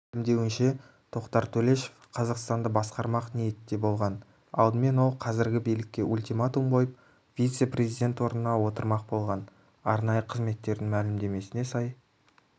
мәлімдеуінше тоқтар төлешов қазақстанды басқармақ ниетте болған алдымен ол қазіргі билікке ультиматум қойып вице-президент орнына отырмақ болған арнайы қызметтердің мәлімдесіне сай